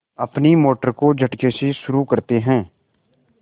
अपनी मोटर को झटके से शुरू करते हैं